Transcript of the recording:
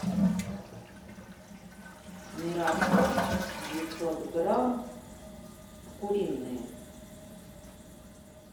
мираторг девятьсот грамм куриные